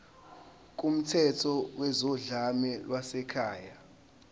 kumthetho wezodlame lwasekhaya